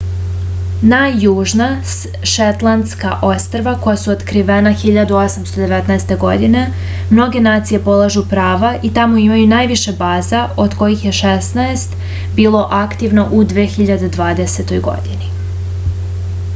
na južna šetlandska ostrva koja su otkrivena 1819. godine mnoge nacije polažu prava i tamo imaju najviše baza od kojih je šesnaest bilo aktivno u 2020. godini